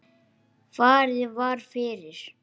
Farið var fyrir